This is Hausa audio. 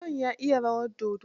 John ya iya rawar dodo.